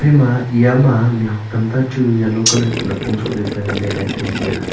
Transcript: ema eya ma mih huak tamta e chu yellow colour kuh napong sohle pe nganle le tai tai a.